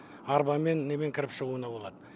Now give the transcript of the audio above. арбамен немен кіріп шығуына болады